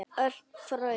Örn fraus.